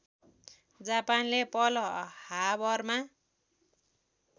जापानले Pearl हार्बरमा